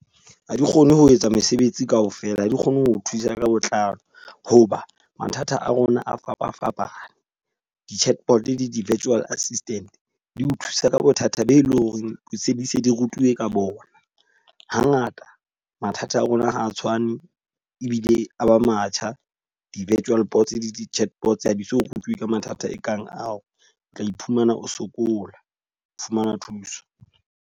Ha di kgone ho etsa mesebetsi ka ofela, ha di kgone ho thusa ka botlalo. Ho ba mathata a rona a fapafapane. Di-chatbot le di-virtual assistant di o thusa ka bothata boo e leng hore di se di se di rutuwe ka bona. Ha ngata mathata a rona ha a tshwane ebile a ba matjha. Di-virtual box le di-chatbot ha di so rutuwi ka mathata e kang ao, o tla iphumana o sokola ho fumana thuso.